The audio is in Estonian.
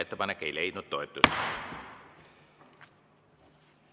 Ettepanek ei leidnud toetust.